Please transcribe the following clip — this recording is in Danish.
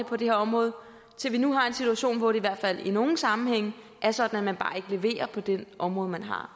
på det her område til at vi nu har en situation hvor det i hvert fald i nogle sammenhænge er sådan at man bare ikke leverer på det område man